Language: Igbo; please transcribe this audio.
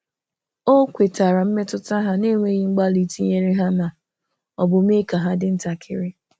O kwetara mmetụta ha na-enweghị mgbalị ịtụnyere ha ma ọ bụ mee ka dị ntakịrị.